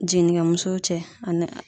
Jiginnikɛ musow cɛ ani